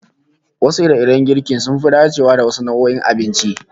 Wasu ire-iren girkin sun fi dacewa da wasu nau'o'in abincin